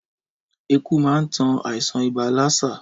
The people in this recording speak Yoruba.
Ẹku man tan àìsàn ibà lásà